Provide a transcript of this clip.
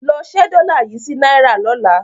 Lọ ṣe dollar yìí sí náírà lọ́la.